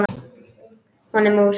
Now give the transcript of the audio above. Hún er mús.